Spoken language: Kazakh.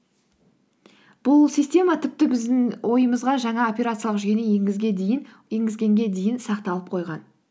бұл система тіпті біздің ойымызға жаңа операциялық жүйені енгізгенге дейін сақталып қойған